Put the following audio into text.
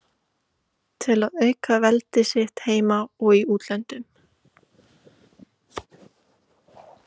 til að auka veldi sitt heima og í útlöndum.